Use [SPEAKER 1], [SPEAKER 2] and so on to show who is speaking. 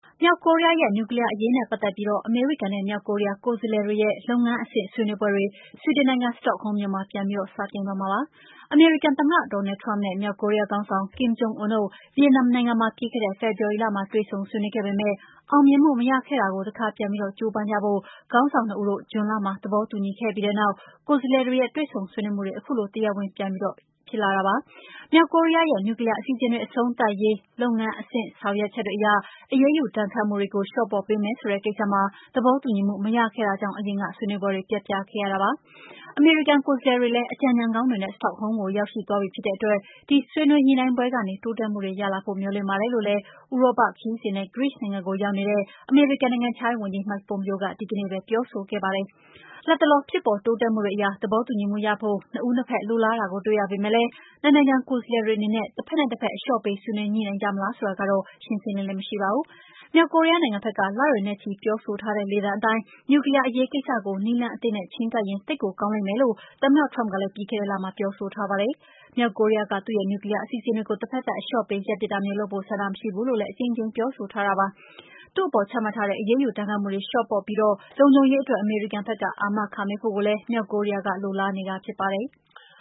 [SPEAKER 1] မြောက်ကိုရီးယားရဲ့ နျူကလီးယားအရေးနဲ့ ပတ်သက်ပြီး အမေရိကန်နဲ့ မြောက်ကိုရီးယား ကိုယ်စားလှယ်တွေရဲ့ လုပ်ငန်းအဆင့် ဆွေးနွေးပွဲတွေ ဆွီဒင်နိုင်ငံ စတော့ဟုမ်းမြို့မှာ ပြန်စတင်တော့မှာပါ။ အမေရိကန်သမ္မတ Donald Trump နဲ့ မြောက်ကိုရီးယားခေါင်းဆောင် Kim Jong Un တို့ ဗီယက်နမ်နိုင်ငံမှာ ပြီးခဲ့တဲ့ ဖေဖော်ဝါရီလမှာ တွေ့ဆုံဆွေးနွေးခဲ့ပေမယ့် အောင်မြင်မှု မရခဲ့တာကို တခါပြန်ပြီး ကြိုးပမ်းဖို့ ခေါင်းဆောင်နှစ်ဦးတို့ ဇွန်လမှာ သဘောတူညီခဲ့ပြီးတဲ့နောက် ကိုယ်စားလှယ်တွေရဲ့ တွေ့ဆုံဆွေးနွေးမှုတွေ ခုလို တရားဝင် ပြန်စတင်လိုက်တာပါ။ မြောက်ကိုရီးယားရဲ့ နျူကလီးယားအစီအစဉ်တွေ အဆုံးသတ်ရေး လုပ်ငန်းအဆင့်အတိုင်း အရေးယူဒဏ်ခတ်မှုတွေ လျှော့ပေါ့ပေးမယ်ဆိုတဲ့ ကိစ္စမှာ သဘောတူညီမှု မရတာကြောင့် အရင်က ဆွေးနွေးပွဲတွေ ပျက်ပြားခဲ့ရတာပါ။ အမေရိကန် ကိုယ်စားလှယ်တွေလည်း အကြံဉာဏ်ကောင်းတွေနဲ့ စတော့ဟုမ်းမြို့ကို ရောက်ရှိသွားပြီ ဖြစ်တဲ့အတွက် ဒီဆွေးနွေးညှိနှိုင်းပွဲကနေ တိုးတက်မှုတွေရလာဖို့ မျှော်လင့်ပါတယ်လို့လည်း ဥရောပခရီးစဉ်နဲ့ ဂရိနိုင်ငံကိုရောက်နေတဲ့ အမေရိကန် နိုင်ငံခြားရေးဝန်ကြီး Mike Pompeo က ဒီကနေ့ပဲ ပြောဆိုခဲ့ပါတယ်။ လတ်တလော ဖြစ်ပေါ်တိုးတက်မှုတွေအရ သဘောတူညီမှုရဖို့ နှစ်ဦးနှစ်ဖက် လိုလားတာကို တွေ့ရပေမယ့်လည်း နှစ်နိုင်ငံ ကိုယ်စားလှယ်တွေအနေနဲ့ တဖက်နဲ့တဖက် အလျှော့ပေး ဆွေးနွေးညှိနှိုင်းကြမလား ဆိုတာကတော့ ရှင်းရှင်းလင်းလင်း မရှိပါဘူး။ မြောက်ကိုရီးယားနိုင်ငံဘက်က လတွေနဲ့ချီ ပြောဆိုထားတဲ့ လေသံအတိုင်း နျူကလီးယားအရေးကိစ္စကို နည်းလမ်းအသစ်နဲ့ ချဉ်းကပ်ရင် သိပ်ကိုကောင်းလိမ့်မယ်လို့ သမ္မတ Trump ကလည်း ပြီးခဲ့တဲ့လက ပြောဆိုထားပါတယ်။ မြောက်ကိုရီးယားက သူ့ရဲ့ နျူကလီးယား အစီအစဉ်တွေကို တဖက်သတ် အလျှော့ပေး ရပ်ပစ်တာမျိုးလုပ်ဖို့ ဆန္ဒမရှိဘူးလို့ အကြိမ်ကြိမ် ပြောဆိုထားပါတယ်။ သူ့အပေါ် ချမှတ်ထားတဲ့ အရေးယူ ဒဏ်ခတ်မှုတွေကို လျှော့ပေါ့ပြီး လုံခြုံရေးအတွက် အမေရိကန်က အာမခံပေးဖို့ မြောက်ကိုရီးယားက လိုလားနေတာလည်း ဖြစ်ပါတယ်။